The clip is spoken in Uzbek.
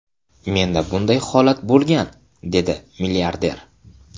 Menda bunday holat bo‘lgan, dedi milliarder.